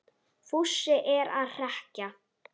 Fúsi er að hrekkja